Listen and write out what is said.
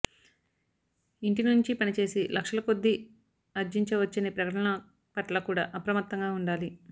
ఇంటి నుంచి పనిచేసి లక్షల కొద్దీ ఆర్జించవచ్చనే ప్రకటనల పట్ల కూడా అప్రమత్తంగా ఉండాలి